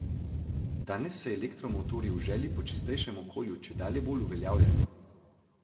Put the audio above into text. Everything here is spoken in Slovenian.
Danes se elektromotorji v želji po čistejšem okolju čedalje bolj uveljavljajo.